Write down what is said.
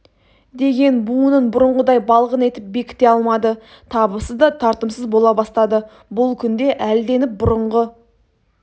деген буынын бұрынғыдай балғын етіп бекіте алмады табысы да татымсыз бола бастады бұл күнде әлденіп бұрынғы